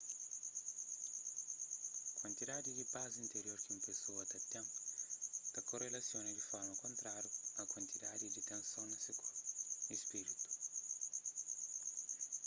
kuantidadi di pas interior ki un pesoa ta ten ta korelasiona di forma kontrariu a kuantidadi di tenson na se korpu y spritu